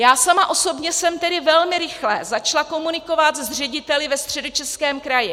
Já sama osobně jsem tedy velmi rychle začala komunikovat s řediteli ve Středočeském kraji.